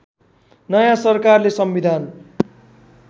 नयाँ सरकारले संविधान